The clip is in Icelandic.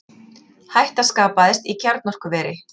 Hætta skapaðist í kjarnorkuveri